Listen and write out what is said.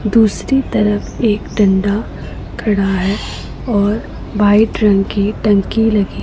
दूसरी तरफ एक डंडा खड़ा है और व्हाइट रंग टंकी लगी है--